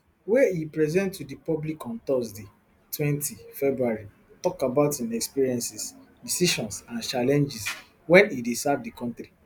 wey e present to di public on thursday twenty february tok about im experiences decisions and challenges wen e dey serve di kontri